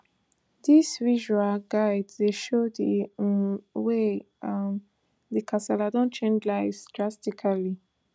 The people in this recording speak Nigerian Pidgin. dis visual guide dey show di um way um di kasala don change lives drastically